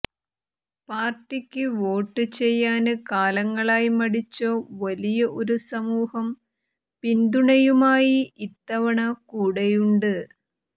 പാര്ട്ടിക്ക് വോട്ട് ചെയ്യാന് കാലങ്ങളായി മടിച്ച വലിയ ഒരു സമൂഹം പിന്തുണയുമായി ഇത്തവണ കൂടെയുണ്ട്